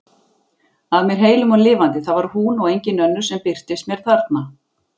Að mér heilum og lifandi, það var hún og engin önnur sem birtist mér þarna!